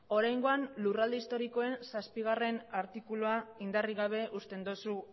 oraingoan lurralde historikoen zazpigarrena artikulua indarrik gabe uzten dozu